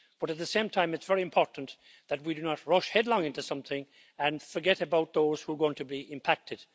But, at the same time, it is very important that we do not rush headlong into something and forget about those who are going to be impacted.